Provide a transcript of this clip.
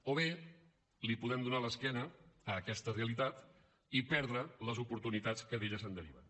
o bé li podem donar l’esquena a aquesta realitat i perdre les oportunitats que d’ella se’n deriven